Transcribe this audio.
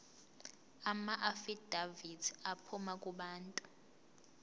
amaafidavithi aphuma kubantu